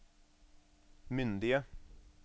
myndige